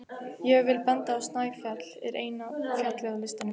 Ég vil benda á að Snæfell er eina fjallið á listanum.